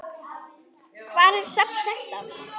Hvar er safn þetta?